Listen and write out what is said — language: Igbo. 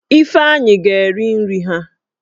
Ifeanyi ga eri nri ha